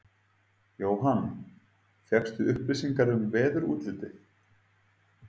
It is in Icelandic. Jóhann: Fékkstu upplýsingar um veðurútlitið?